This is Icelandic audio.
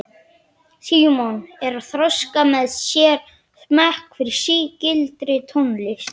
Símon er að þroska með sér smekk fyrir sígildri tónlist.